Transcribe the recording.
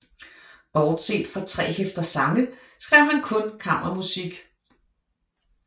Bortset fra tre hæfter sange skrev han kun kammermusik